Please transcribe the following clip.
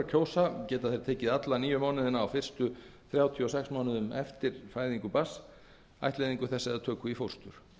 kjósa geta þeir tekið alla níu mánuðina á fyrstu þrjátíu og sex mánuðum eftir fæðingu barns ættleiðingu þess eða töku í fóstur